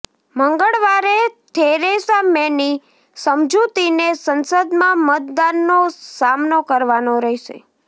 મંગળવારે થેરેસા મેની સમજૂતીને સંસદમાં મતદાનનો સામનો કરવાનો રહેશે